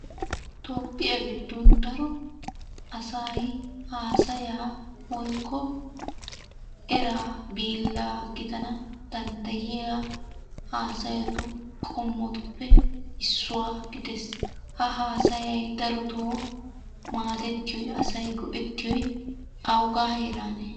Toophphiya giddon daro asay haasayaa woyikko eraa biillaa gidana dandayiya haasayatu qommotuppe issuwa gides. Ha haasayay daroto maaadettiyoy asay go'ettiyoy awugaa heerane?